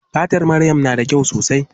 Fatar maryam na da kyau sosai.